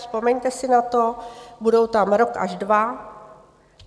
Vzpomeňte si na to, budou tam rok až dva.